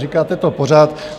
Říkáte to pořád.